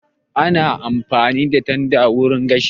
Ana amfani da tanda wurin gashi